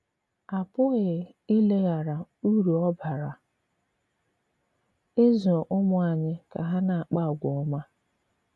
À pụghị ìlèghàrà ùrú ọ bàrà ịzụ̀ ùmụ̀ ànyị̀ ka hà na-àkpà àgwà òmá.